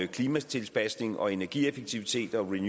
klimatilpasning og energieffektivitet og